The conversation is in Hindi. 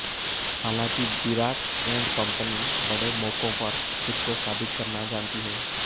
हालांकि विराट एंड कम्पनी बड़े मौकोंपर खुद को साबित करना जानती है